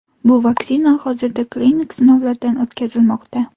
Bu vaksina hozirda klinik sinovlardan o‘tkazilmoqda.